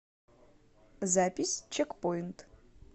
запись чекпоинт